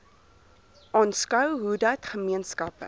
aanskou hoedat gemeenskappe